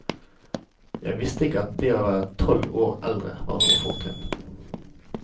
Jeg visste ikke at det å være tolv år eldre var noe fortrinn.